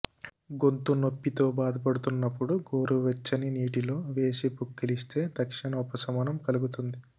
గొంతు నొప్పితో బాధపడుతున్నప్పుడు గోరువెచ్చని నీటిలో వేసి పుక్కిలిస్తే తక్షణ ఉపశమనం కలుగుతుంది